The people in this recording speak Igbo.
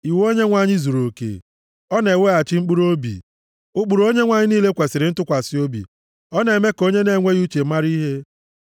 Iwu Onyenwe anyị zuruoke; ọ na-eweghachi mkpụrụobi. Ụkpụrụ Onyenwe anyị niile kwesiri ntụkwasị obi; ọ na-eme ka onye na-enweghị uche mara ihe.